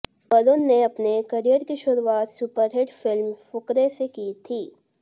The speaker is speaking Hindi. वरुण ने अपने करियर की शुरुआत सुपरहिट फिल्म फुकरे से की थी